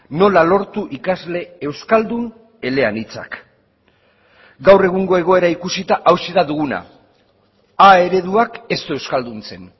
nola lortu ikasle euskaldun eleanitzak gaur egungo egoera ikusita hauxe da duguna a ereduak ez du euskalduntzen